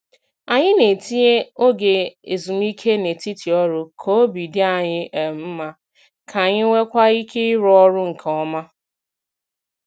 Anyị na-etinye oge ezumike n'etiti ọrụ k'obi dị anyị um mma, k'anyi nweekwa ike ịrụ ọrụ nke ọma.